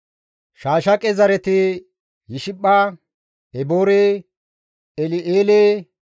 Shaashaqe zareti Yishipha, Eboore, El7eele,